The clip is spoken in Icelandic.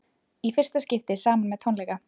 Í fyrsta skipti saman með tónleika